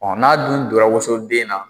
n'a dun donra woson den na